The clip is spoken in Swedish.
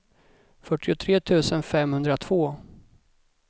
fyrtiotre tusen femhundratvå